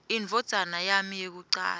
indvodzana yami yekucala